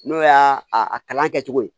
N'o y'a kalan kɛcogo ye